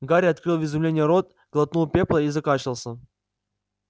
гарри открыл в изумлении рот глотнул пепла и закашлялся